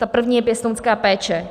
Ta první je pěstounská péče.